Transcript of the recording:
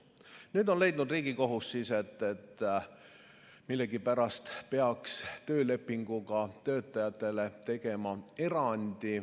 Nüüd on Riigikohus leidnud, et millegipärast peaks töölepinguga töötajatele tegema erandi.